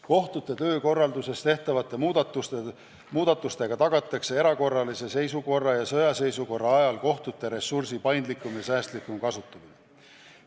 Kohtute töökorralduses tehtavate muudatustega tagatakse erakorralise seisukorra ja sõjaseisukorra ajal kohtute ressursi paindlikum ja säästlikum kasutamine.